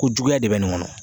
Ko juguya de bɛ nin ŋɔnɔ